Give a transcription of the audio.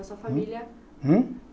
A sua família... Hum?